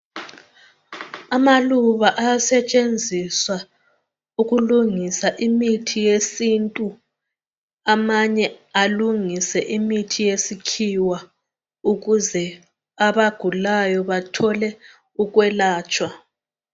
Amaluba ayasetshenziswa ukulungisa imithi yesintu, amanye alungise imithi yesikhiwa ukuze abagulayo bathole ukwelatshwa.